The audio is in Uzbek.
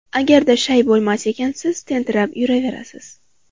Agarda shay bo‘lmas ekansiz, tentirab yuraverasiz.